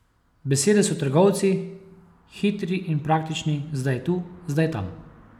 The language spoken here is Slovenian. Besede so trgovci, hitri in praktični, zdaj tu, zdaj tam.